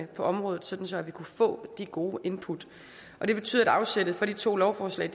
på området så så vi kunne få de gode input det betyder at afsættet for de to lovforslag